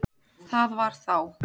Það var þá!